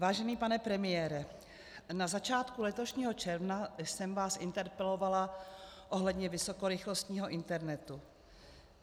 Vážený pane premiére, na začátku letošního června jsem vás interpelovala ohledně vysokorychlostního internetu.